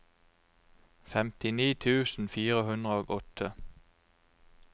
femtini tusen fire hundre og åtte